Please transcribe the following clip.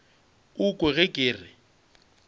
o kwe ge ke re